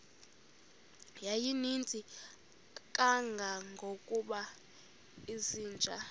yayininzi kangangokuba izinja